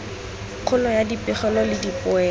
kgolo ya dipegelo le dipoelo